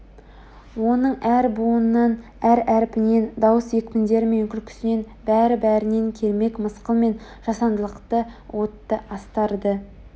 оның әр буынынан әр әрпінен дауыс екпіндері мен күлкісінен бәрі-бәрінен кермек мысқыл мен жасандылықты уытты астарды